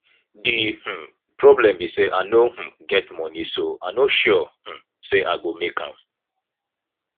the um problem be say i no um get money so i no sure um say i go make am